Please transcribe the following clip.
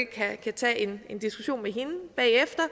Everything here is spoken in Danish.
kan tage en diskussion med hende bagefter